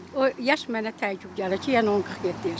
O yaş mənə təəccüblü gəlir ki, yəni onun 47 yaşı var.